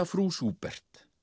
frú Schubert